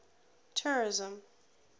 tourism